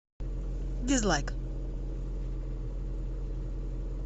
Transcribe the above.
дизлайк